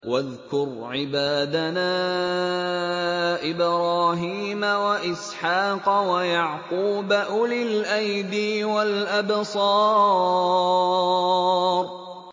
وَاذْكُرْ عِبَادَنَا إِبْرَاهِيمَ وَإِسْحَاقَ وَيَعْقُوبَ أُولِي الْأَيْدِي وَالْأَبْصَارِ